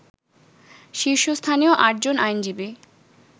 শীর্ষস্থানীয় আটজন আইনজীবী